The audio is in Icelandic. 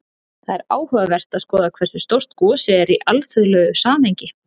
Það er áhugavert að skoða hversu stórt gosið er í alþjóðlegu samhengi.